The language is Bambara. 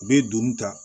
U bɛ don ta